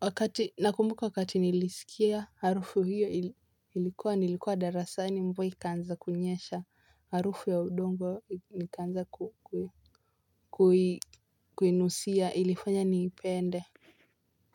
Wakati nakumbuka wakati nilisikia harufu hiyo ilikuwa nilikuwa darasani mvua ikaanza kunyesha harufu ya udongo ni likaanza ku kuinusia ilifanya niipende.